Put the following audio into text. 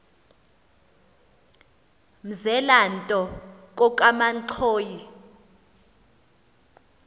mzela nto kokamanxhoyi